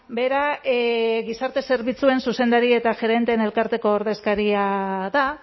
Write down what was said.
bera gizarte zerbitzuen zuzendarien eta gerenteen elkarteko ordezkaria da